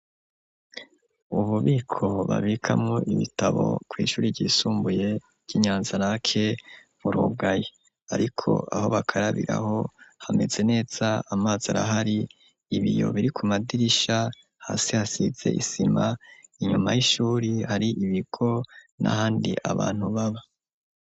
Ububiko babikamwo ibitabo kw’ ishuri ryisumbuye ry’inyanzarake burugaye ,ariko aho bakarabiraho hameze neza amazi arahari, ibiyo biri ku madirisha, hasi hasize isima ,inyuma y'ishuri hari ibigo n'ahandi abantu baba.